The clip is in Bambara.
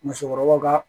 Musokɔrɔbaw ka